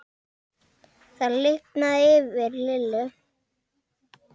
Það lifnaði yfir Lillu.